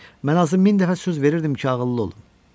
Mən özümə min dəfə söz verirdim ki, ağıllı olun.